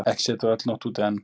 Ekki sé þó öll nótt úti.